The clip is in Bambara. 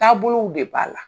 Taabolow de b'a la.